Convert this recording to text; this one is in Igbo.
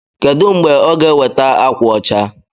Kedụ mgbe ọ ga-eweta ákwà ọcha?